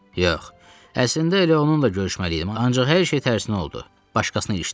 Yox, əslində elə onunla görüşməliydim, ancaq hər şey tərsinə oldu, başqasına ilişdim.